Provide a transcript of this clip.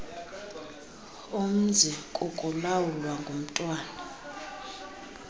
umzi kukulawulwa ngumntwana